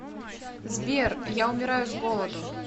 сбер я умираю с голоду